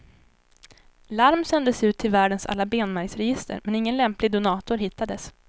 Larm sändes ut till världens alla benmärgsregister, men ingen lämplig donator hittades.